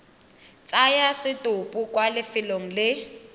tsaya setopo kwa lefelong le